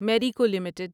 Marico limited